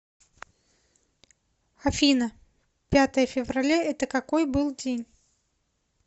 афина пятое февраля это какой был день